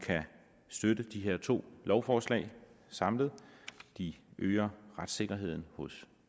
støtte de her to lovforslag samlet de øger retssikkerheden hos